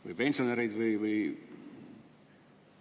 Või pensionärid?